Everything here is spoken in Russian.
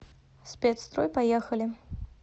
спецстрой поехали